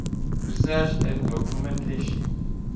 research and documentation